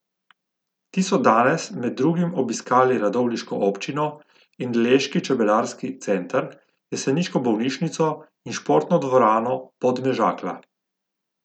Ti so danes med drugim obiskali radovljiško občino in leški čebelarski center, jeseniško bolnišnico in športno dvorano Podmežakla.